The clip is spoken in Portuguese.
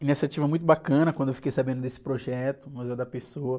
Iniciativa muito bacana quando eu fiquei sabendo desse projeto, o.